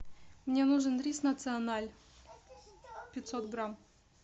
мне нужен рис националь пятьсот грамм